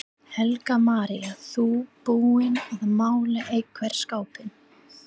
Helga María: Þú búinn að mála einhvern skápinn?